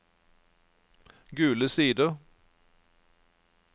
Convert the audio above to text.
Gule Sider